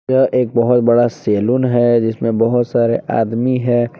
यह एक बहोत बड़ा सैलून है जिसमें बहोत सारे आदमी है।